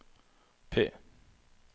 P